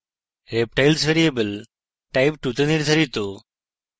reptiles variable type2 তে নির্ধারিত